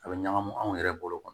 A bɛ ɲagami anw yɛrɛ bolo